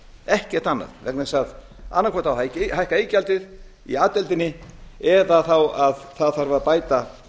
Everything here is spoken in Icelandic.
ekkert annað vegna þess að annað hvort á að hækka iðgjaldið í a deildinni eða það þarf að bæta